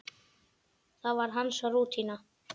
Það var hans rútína.